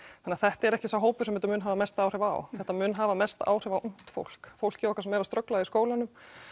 þannig þetta er ekki sá hópur sem þetta mun hafa mest áhrif á þetta mun hafa mest áhrif á ungt fólk fólkið okkar sem er að ströggla í skólanum